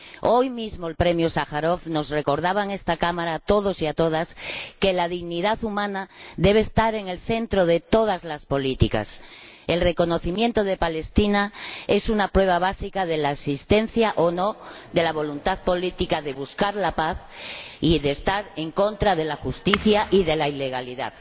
Hoy mismo el premio Sájarov nos recordaba en esta Cámara a todos y a todas que la dignidad humana debe estar en el centro de todas las políticas. El reconocimiento de Palestina es una prueba básica de la existencia o no de la voluntad política de buscar la paz y de estar en contra de la injusticia y de la ilegalidad.